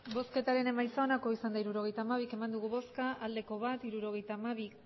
hirurogeita hamabi eman dugu bozka bat bai hirurogeita hamabi